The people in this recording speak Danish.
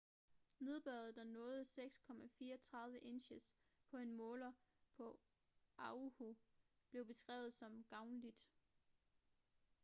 nedbøret der nåede 6,34 inches på en måler på oahu blev beskrevet som gavnligt